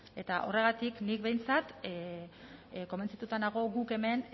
eta horregatik nik behintzat konbentzituta nago guk hemen